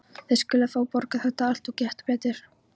Þið skuluð fá að borga þetta allt. og gott betur!